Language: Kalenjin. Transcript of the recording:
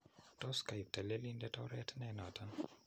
Tos kaiib telelindet oreet ne noton?